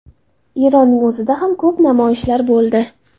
Eronning o‘zida ham ko‘p namoyishlar bo‘ldi.